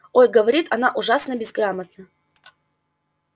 ой говорит она ужасно безграмотно